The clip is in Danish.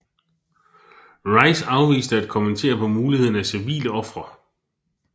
Rice afviste at kommentere på muligheden af civile ofre